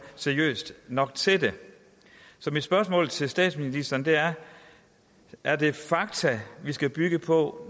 seriøst nok til det så mit spørgsmål til statsministeren er er det fakta vi skal bygge på